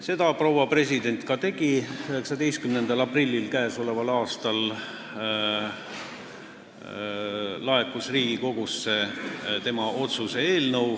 Seda proua president ka tegi: 19. aprillil k.a laekus Riigikogusse tema otsuse eelnõu.